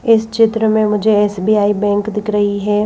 इस चित्र में मुझे एस-बी-आई बैंक दिख रही है।